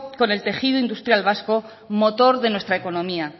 con el tejido industrial vasco motor de nuestra economía